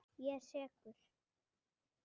Ég er sekur.